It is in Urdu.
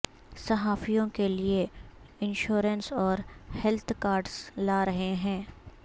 صحافیوں کے لئے انشورنس اور ہیلتھ کارڈز لا رہے ہیں